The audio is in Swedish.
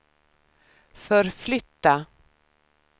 förflytta